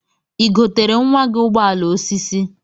Igotere nwa gi ụgbọala osisi?